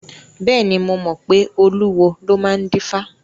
Bẹ́ẹ̀ni, mo mọ pé olúwo ló máa ń dífá.